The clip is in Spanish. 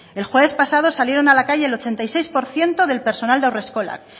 el jueves pasado salieron a la calle el ochenta y seis por ciento del personal de haurreskolak